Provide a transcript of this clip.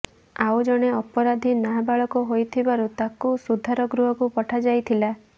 ଆଉ ଜଣେ ଅପରାଧୀ ନାବାଳକ ହୋଇଥିବାରୁ ତାକୁ ସୁଧାର ଗୃହକୁ ପଠାଯାଇଥିଲା